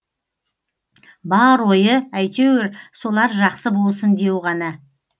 бар ойы әйтеуір солар жақсы болсын деу ғана